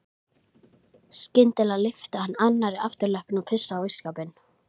Skyndilega lyfti hann annarri afturlöppinni og pissaði á ísskápinn.